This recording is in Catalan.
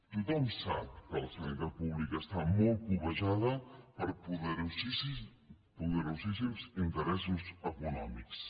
tothom sap que la sanitat pública està molt cobejada per poderosíssims interessos econòmics